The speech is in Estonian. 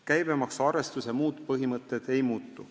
Käibemaksu arvestuse muud põhimõtted ei muutu.